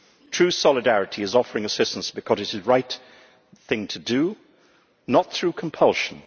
True solidarity is offering assistance because it is the right thing to do not through compulsion.